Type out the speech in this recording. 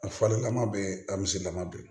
A fɔlen kama bɛɛ a miselama bɛɛ